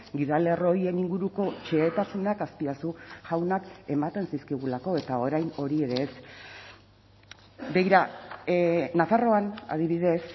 gidalerro horien inguruko xehetasunak azpiazu jaunak ematen zizkigulako eta orain hori ere ez begira nafarroan adibidez